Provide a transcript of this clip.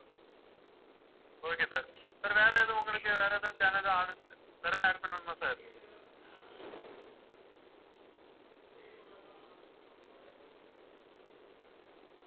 okay sir, sir வேற எதுவும் உங்களுக்கு வேற ஏதாவது channel வேற ஏதாவது add பண்ணணுமா sir